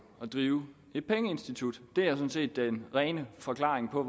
at drive et pengeinstitut det er sådan set den rene forklaring på